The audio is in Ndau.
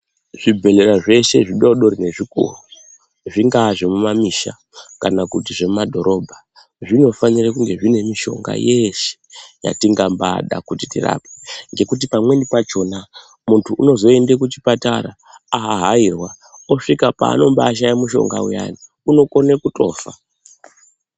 Zvibhedhlera zveshe zvidoodori nezvikuru, zvingave zvemumamisha kana kuti zvekumadhorobha zvinofanire kunge zviine mishonga yeshe yatingambaada kuti tirapwe ngekuti pamweni pachona muntu unozoende kuchipatara ahahairwa osvika paanombashaye mishonga payani unokone kutofa.